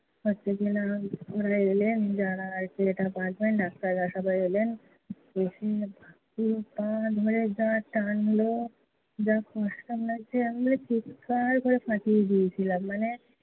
হচ্ছে কি না, ওনরা এলেন, যারা x-ray টা করেছেন ডাক্তাররা সবাই এলেন। এসে পা ধরে যা টানলো। যা কষ্ট লাগছিলো, আমি মানে চিৎকার করে ফাটিয়ে দিয়েছিলাম। মানে